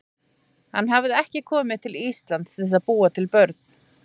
Hann hafði ekki komið til Íslands til að búa til börn.